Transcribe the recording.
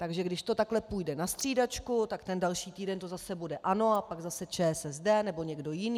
Takže když to takhle půjde na střídačku, tak ten další týden to zase bude ANO a pak zase ČSSD nebo někdo jiný.